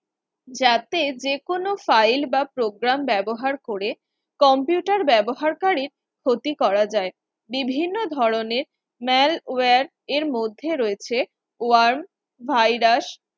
যাতে যে কোনো file বা program ব্যবহার করে computer ব্যবহারকারীর ক্ষতি করা যায়, বিভিন্ন ধরনের malware এর মধ্যে রয়েছে warm virus